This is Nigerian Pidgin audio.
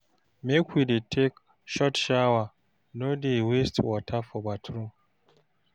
Make we dey take short shower, no dey waste water for bathroom.